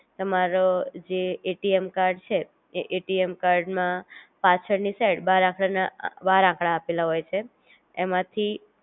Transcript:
તમારો જે ATM card છે, એ એટીએમ કાર્ડ માં પાછળ ની સાઇડ બાર આખર ના બાર આકડા આપેલા હોય છે એમાંથી